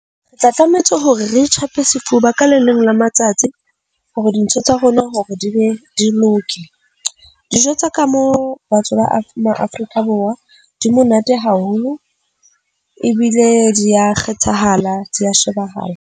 Re tla tlamehetse hore re itjhape sefuba ka le leng la matsatsi hore dintho tsa rona hore di be di loke. Dijo tsa ka mo batho ba Maafrika Borwa di monate haholo ebile di a kgethahala di a shebahala.